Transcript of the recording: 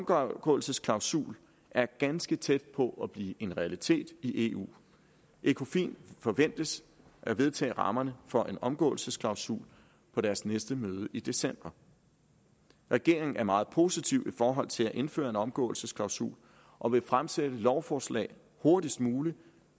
omgåelsesklausul er ganske tæt på at blive en realitet i eu ecofin forventes at vedtage rammerne for en omgåelsesklausul på deres næste møde i december regeringen er meget positiv i forhold til at indføre en omgåelsesklausul og vil fremsætte lovforslag hurtigst muligt